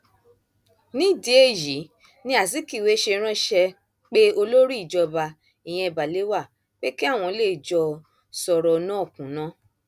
nídìí èyí ni azikiwe ṣe ránṣẹ pé olórí ìjọba ìyẹn balewa pé kí àwọn lè jọ sọrọ náà kúnná